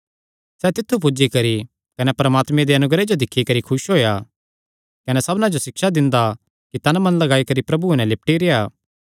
सैह़ तित्थु पुज्जी करी कने परमात्मे दे अनुग्रह जो दिक्खी करी खुस होएया कने सबना जो सिक्षा दिंदा कि तन मन लगाई करी प्रभुये नैं लिपटी रेह्आ